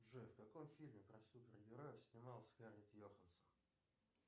джой в каком фильме про супергероев снималась скарлетт йохансен